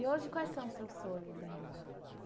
E hoje quais são os seus sonhos ainda?